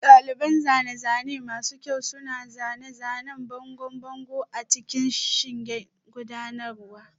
Daliban zane-zane masu kyau suna zanen bangon bango a cikin shingen gudanarwa